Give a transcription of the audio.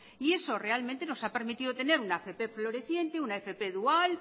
y eso realmente nos ha permitido tener una fp floreciente una fp dual